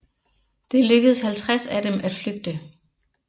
Det lykkes 50 af dem at flygte